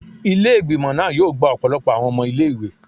Ile-igbimọ naa yoo gba ọpọlọpọ awọn ọmọ ile-iwe